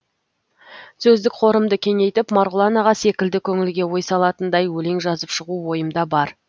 сөздік қорымды кеңейтіп марғұлан аға секілді көңілге ой салатындай өлең жазып шығу ойымда бар